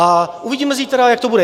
A uvidíme zítra, jak to bude.